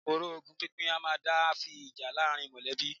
Ọ̀rọ̀ ogún pínpín a máà ń dá fa ìjà láàárín mọ̀lẹ́bí.